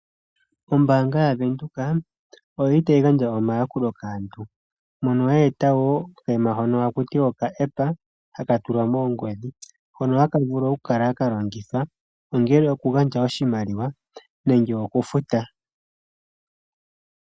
Ombaanga yaVenduka oyili tayi gandja omayakulo kaantu. Mono ye eta wo okaima hono hakutiwa okaepa haka tulwa moongodhi. Hono haka vulu okukala kalongithwa ongele okugandja oshimaliwa nenge okufuta.